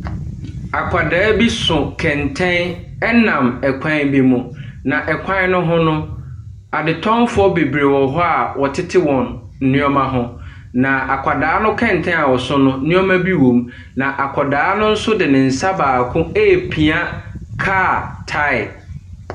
Akwadaa bi so kɛntɛn nam kwan ne mu. Na kwan ne mu no, adetɔnfo bebree wɔ hɔ a wɔtete wɔn nneɛma ho. Na akwadaa ne kɛntɛn a ɔso nso, nneɛma bi wɔ mu. Na akwadaa no nso de ne nsa baako ɛrepia kaa tae.